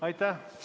Aitäh!